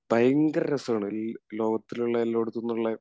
ഭയങ്കര രസമാണ് ഈ ലോകത്തിലുള്ള എല്ലായിടത്തുന്നുമുള്ള